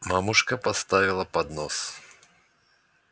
мамушка поставила поднос